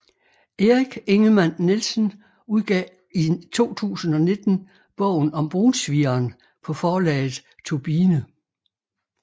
Erik Ingemann Nielsen udgav i 2019 Bogen om Brunsvigeren på forlaget Turbine